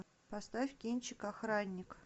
поставь кинчик охранник